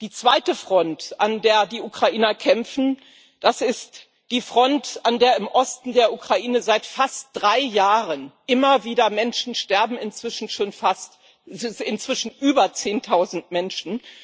Die zweite Front, an der die Ukrainer kämpfen, das ist die Front, an der im Osten der Ukraine seit fast drei Jahren immer wieder Menschen sterben, inzwischen schon über zehntausend Menschen.